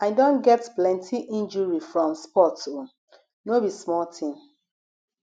i don get plenty injury from sports o no be small tin